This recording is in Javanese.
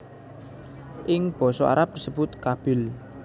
Ing basa Arab disebut Qabil